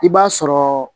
I b'a sɔrɔ